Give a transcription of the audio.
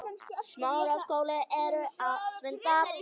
Stella Soffía.